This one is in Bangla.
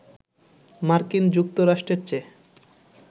মার্কিন যুক্তরাষ্ট্রের চেয়ে